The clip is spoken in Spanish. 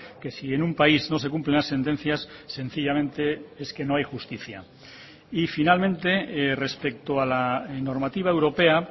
que si en un país no se cumplen las sentencias sencillamente es que no hay justicia y finalmente respecto a la normativa europea